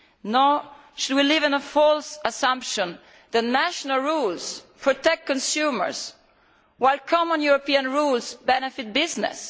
Nor should we live under a false assumption that national rules protect consumers, while common European rules benefit business.